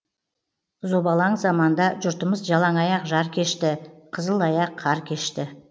зобалаң заманда жұртымыз жалаң аяқ жар кешті қызыл аяқ қар кешті